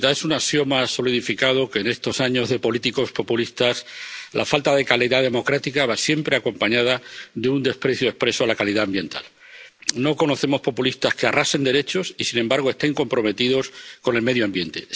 Señora presidenta, es un axioma solidificado que en estos años de políticos populistas la falta de calidad democrática va siempre acompañada de un desprecio expreso de la calidad ambiental. No conocemos populistas que arrasen derechos y sin embargo estén comprometidos con el medio ambiente.